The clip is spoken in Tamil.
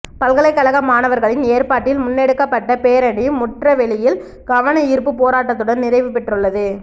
பல்கலைகழக மாணவர்களின் ஏற்பாட்டில் முன்னெடுக்கப்பட்ட பேரணி முற்றவெளியில் கவனயீர்ப்பு போராட்டத்துடன் நிறைவுபெற்றுள்ளது